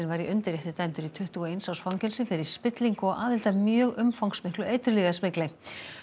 var í undirrétti dæmdur í tuttugu og eins árs fangelsi fyrir spillingu og aðild að mjög umfangsmiklu eiturlyfjasmygli